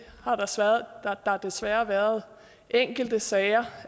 har der desværre været enkelte sager